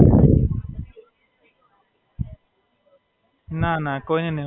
ના, ના, કોઈને નહીં ઓડખતો. ખાલી હમણાં તો જે સાથે છે એમને ઓડખું, બીજું તો કોઈ વધારે નહીં.